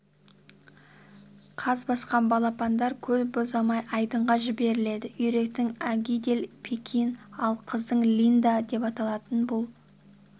қаз басқан балапандар көп ұзамай айдынға жіберіледі үйректің агидель пекин ал қаздың линда деп аталатын бұл